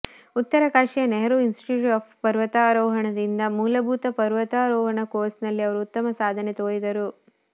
ಉತ್ತರಕಾಶಿಯ Nehru institute of ಪರ್ವತಾರೋಹಣದಿಂದ ಮೂಲಭೂತ ಪರ್ವತಾರೋಹಣ ಕೋರ್ಸ್ನಲ್ಲಿ ಅವರು ಉತ್ತಮ ಸಾಧನೆ ತೋರಿದರು